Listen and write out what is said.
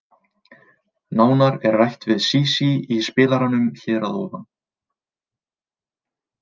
Nánar er rætt við Sísí í spilaranum hér að ofan.